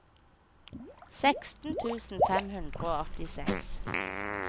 seksten tusen fem hundre og åttiseks